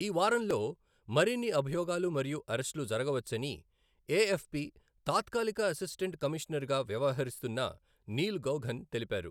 ఈ వారంలో మరిన్ని అభియోగాలు మరియు అరెస్టులు జరగవచ్చని ఏఎఫ్పి తాత్కాలిక అసిస్టెంట్ కమిషనర్గా వ్యవహరిస్తున్న నీల్ గౌఘన్ తెలిపారు.